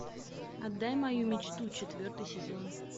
отдай мою мечту четвертый сезон